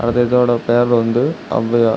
அது இதோட பேர் வந்து ஔவையார்.